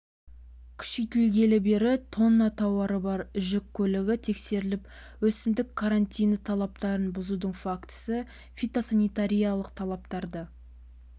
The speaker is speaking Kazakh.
күшейтілгелі бері тонна тауары бар жүк көлігі тексеріліп өсімдік карантині талаптарын бұзудың фактісі фитосанитариялық талаптарды